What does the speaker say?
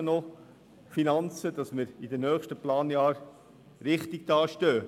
Wir brauchen also noch Finanzen, damit wir in den nächsten Planjahren richtig dastehen.